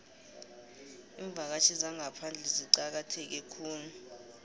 iimvakatjhi zangaphandle zicakatheke khulu